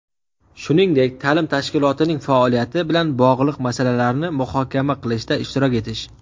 shuningdek taʼlim tashkilotining faoliyati bilan bog‘liq masalalarni muhokama qilishda ishtirok etish;.